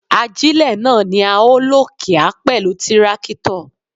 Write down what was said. Ajílẹ̀ náà ni a ó lò kíá pẹ̀lú tírákítọ̀.